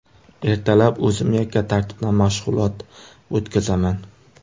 Ertalab o‘zim yakka tartibda mashg‘ulot o‘tkazaman.